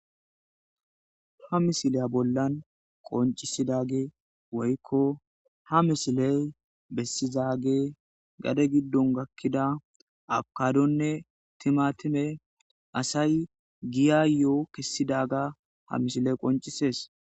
Ha misileya bollan qoncisidage woykko ha misiley bessizaage gade giddon gakkida abkadonne timatime asay giya yo7o kessidaga ha mishiley qoncisees